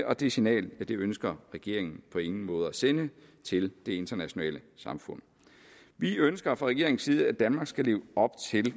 og det signal ønsker regeringen på ingen måde at sende til det internationale samfund vi ønsker fra regeringens side at danmark skal leve op til